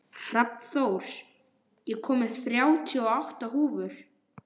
Hrafnþór, ég kom með þrjátíu og átta húfur!